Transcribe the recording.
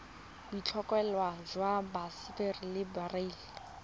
boitlhophelo jwa sapphire le beryl